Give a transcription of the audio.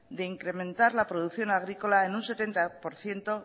de incrementar la producción agrícola en un setenta por ciento